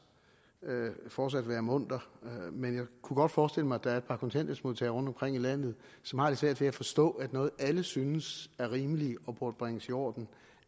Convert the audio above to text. fortsat kan være munter men jeg kunne godt forestille mig at der er et par kontanthjælpsmodtagere rundtomkring i landet som har lidt svært ved at forstå at noget alle synes er rimeligt og burde bringes i orden